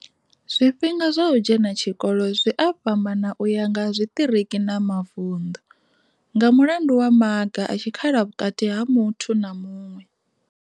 Zwifhinga zwa u dzhena tshikolo zwi a fhambana u ya nga zwiṱiriki na mavundu, nga mulandu wa maga a tshi khala vhukati ha muthu na muṅwe.